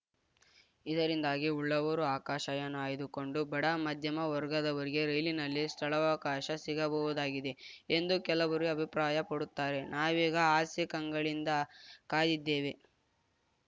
ಇದರಿಂದಾಗಿ ಉಳ್ಳವರು ಆಕಾಶಯಾನ ಆಯ್ದುಕೊಂಡು ಬಡಮಧ್ಯಮ ವರ್ಗದವರಿಗೆ ರೈಲಿನಲ್ಲಿ ಸ್ಥಳವಕಾಶ ಸಿಗಬಹುದಾಗಿದೆ ಎಂದು ಕೆಲವರು ಅಭಿಪ್ರಾಯಪಡುತ್ತಾರೆ ನಾವೀಗ ಆಸೆ ಕಂಗಳಿಂದ ಕಾದಿದ್ದೇವೆ